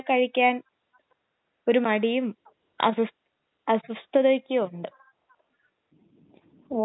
പിന്നെ അൻസീടെ വീട്ടിൽ എല്ലാവർക്കും ഇതേ ഭാഷണമാണോ കഴിക്കണെ